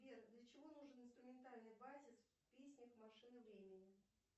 сбер для чего нужен инструментальный базис в песнях машины времени